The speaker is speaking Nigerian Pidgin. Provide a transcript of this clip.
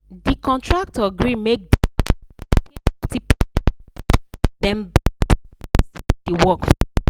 the contractor gree make the house owner pay fifty percent first then balance the rest when the work finish.